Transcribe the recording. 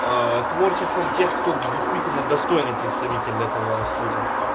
творчеством тех кто действительно достойный представитель этого стиля